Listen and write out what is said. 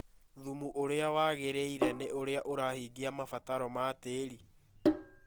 Thumu ũrĩa wagĩrĩire nĩ ũrĩa ũrahingia mabataro ma tĩĩri.